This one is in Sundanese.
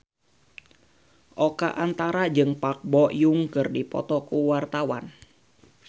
Oka Antara jeung Park Bo Yung keur dipoto ku wartawan